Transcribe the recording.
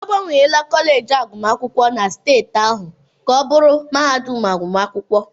Agbanwela kọleji agụmakwụkwọ na steeti ahụ na mahadum agụmakwụkwọ.